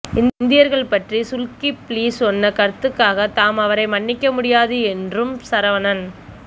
இந்தியர்கள் பற்றி சுல்கிப்லி சொன்ன கருத்துக்காக தாம் அவரை மன்னிக்க முடியாது என்றும் சரவணன்